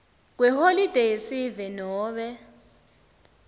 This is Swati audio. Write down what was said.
kweholide yesive nobe